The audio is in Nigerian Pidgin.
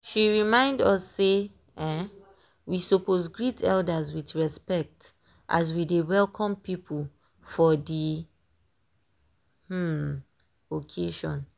she remind us sey um we suppose greet elders with respect as we dey welcome people for dey um occasion.